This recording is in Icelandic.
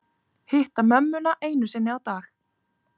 Hitta mömmuna einu sinni á dag